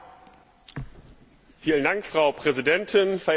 Frau Präsidentin, verehrte Kolleginnen und Kollegen!